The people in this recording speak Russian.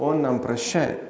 он нам прощай